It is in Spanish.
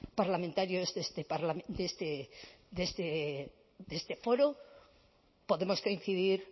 parlamentarios de este foro podemos coincidir